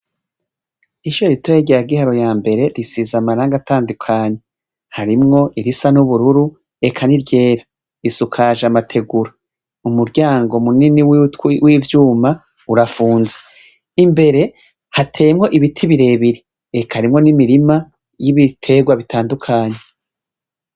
Isho ritoye rya giharo ya mbere risiza amaranga atandukanyu harimwo irisa n'ubururu eka ni ryera risukaje amategura umuryango munini witwi w'ivyuma urafunza imbere hatemwo ibiti birebiri eka arimwo n'imirima y'ibiterwa bitandukanya.